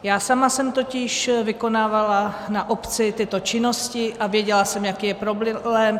Já sama jsem totiž vykonávala na obci tyto činnosti a věděla jsem, jaký je problém.